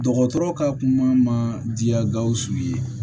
Dɔgɔtɔrɔ ka kuma ma diya gawusu ye